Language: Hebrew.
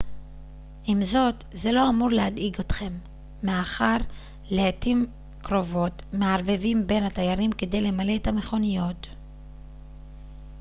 עם זאת זה לא אמור להדאיג אתכם מאחר שלעתים קרובות מערבבים בין התיירים כדי למלא את המכוניות